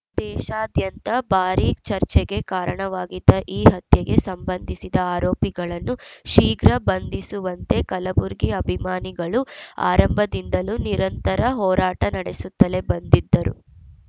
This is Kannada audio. ದೇಶಾದ್ಯಂತ ಭಾರೀ ಚರ್ಚೆಗೆ ಕಾರಣವಾಗಿದ್ದ ಈ ಹತ್ಯೆಗೆ ಸಂಬಂಧಿಸಿದ ಆರೋಪಿಗಳನ್ನು ಶೀಘ್ರ ಬಂಧಿಸುವಂತೆ ಕಲಬುರ್ಗಿ ಅಭಿಮಾನಿಗಳು ಆರಂಭದಿಂದಲೂ ನಿರಂತರ ಹೋರಾಟ ನಡೆಸುತ್ತಲೇ ಬಂದಿದ್ದರು